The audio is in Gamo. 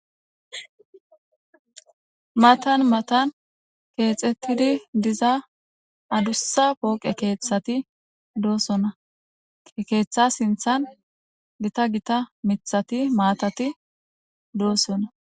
Matan matan keexettidi diza adussa pooqe keeththati doosona ke keeththa sinthan gita gita mithati maatati doosona.